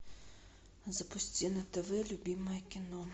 запусти на тв любимое кино